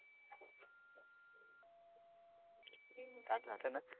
ताट राहताना